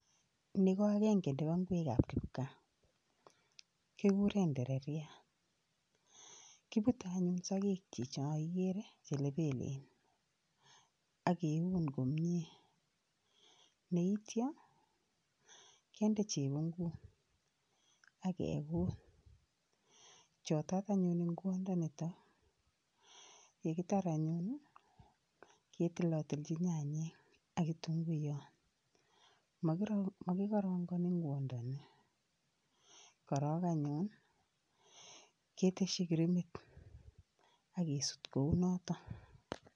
Ni ko agenge nebo ingwekab kipgaa, kikure ndereriat, kipute anyun sokekchi cho igeere che lepelen ak keun neityo kende chepunguut ake kuut. Choto anyuun konde netai, ye kitaar anyuun ketonotonchi nyanyek ak kitunguiyot, makingaragani ngwandani, korok anyuun keteshi krimit ak kesut kounoto.